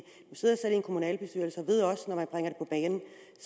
kommunalbestyrelse